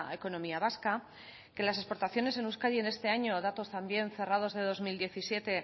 economía vasca que las exportaciones en euskadi este año datos también cerrados de dos mil diecisiete